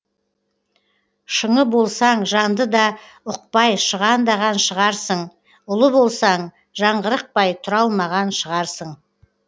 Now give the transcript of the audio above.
шыңы болсаң жанды да ұқпай шығандаған шығарсың ұлы болсаң жаңғырықпай тұра алмаған шығарсың